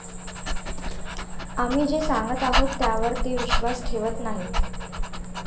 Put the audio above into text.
आम्ही जे सांगत आहोत, त्यावर ते विश्वास ठेवत नाहीत.